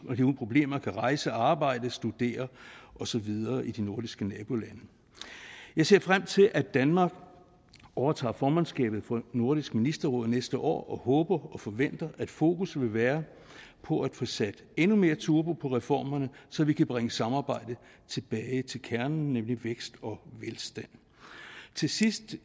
problemer kan rejse arbejde studere og så videre i de nordiske nabolande jeg ser frem til at danmark overtager formandskabet for nordisk ministerråd næste år og håber og forventer at fokus vil være på at få sat endnu mere turbo på reformerne så vi kan bringe samarbejdet tilbage til kernen nemlig vækst og velstand til sidst